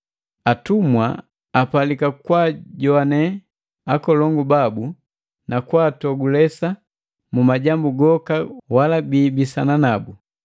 Atumwa apalika kwaajoane akolongu babu na kwaatogulesa mu majambu goka wala biibisana nabu,